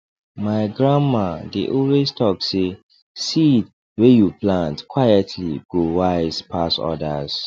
my grandma dey always talk say seed wey you plant quietly go wise pass others